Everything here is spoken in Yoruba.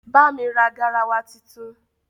bá mí rà garawa títún